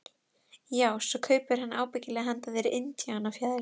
Ekki hefur fengist gefið upp hvað uppskriftin að lakkrísnum kostaði.